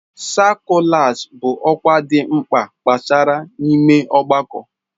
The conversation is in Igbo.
sakụlas bụ ọkwa dị mkpa gbasara n'ime ọgbakọ.